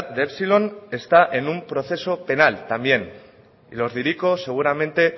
de epsilon está en un proceso penal también y los de hiriko seguramente